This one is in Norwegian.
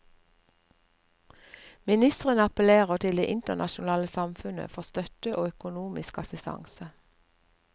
Ministrene appellerer til det internasjonale samfunnet for støtte og økonomisk assistanse.